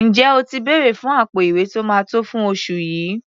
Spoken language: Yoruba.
Ǹjẹ́ o ti bèrẹ̀ fún àpò-ìwé tó máa tó fún oṣù yìí?